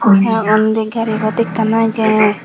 tey undi gari pot ekkan agey.